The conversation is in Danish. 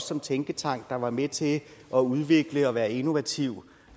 som tænketank der var med til at udvikle og være innovativ